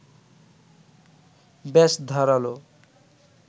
বেশ ধারালো